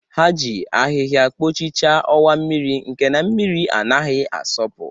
Ha ji ahịhịa kpochichaa ọwa mmiri nke na-mmiri anaghị asọpụ.